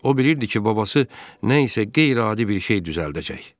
O bilirdi ki, babası nə isə qeyri-adi bir şey düzəldəcək.